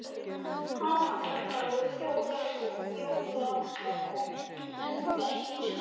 Aðfangadagur jóla var kominn en nú var enginn snjór.